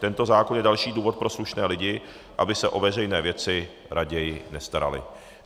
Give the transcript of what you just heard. Tento zákon je další důvod pro slušné lidi, aby se o veřejné věci raději nestarali.